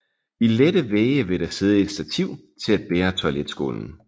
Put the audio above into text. I lette vægge vil der sidde et stativ til at bære toiletskålen